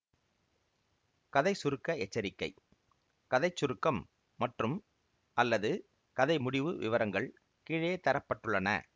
கதை சுருக்க எச்சரிக்கை கதை சுருக்கம் மற்றும்அல்லது கதை முடிவு விவரங்கள் கீழே தர பட்டுள்ளன